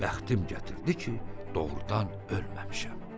Bəxtim gətirdi ki, doğrudan ölməmişəm.